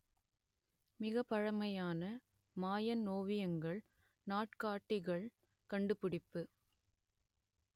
மிகப்பழமையான Mayan ஓவியங்கள் நாட்காட்டிகள் கண்டுபிடிப்பு